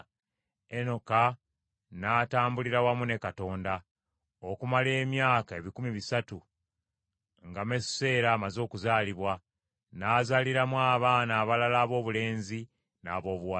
Enoka n’atambulira wamu ne Katonda, okumala emyaka ebikumi bisatu nga Mesuseera amaze okuzaalibwa, n’azaala abaana abalala aboobulenzi n’aboobuwala.